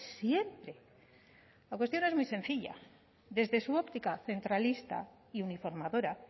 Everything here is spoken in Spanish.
siempre la cuestión es muy sencilla desde su óptica centralista y uniformadora